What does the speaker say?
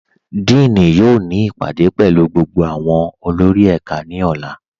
Díìní yóò ni ipádé pẹ̀lú gbogbo awọn olórì ẹká ni ọ̀là.